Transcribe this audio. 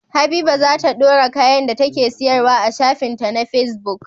Habiba zata dora kayan da take siyar wa a shafin ta ma facebook